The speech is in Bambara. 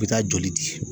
U bɛ taa joli di